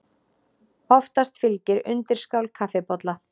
Oftast fylgir undirskál kaffibolla.